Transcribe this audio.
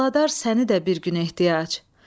Ağladar səni də bir gün ehtiyac.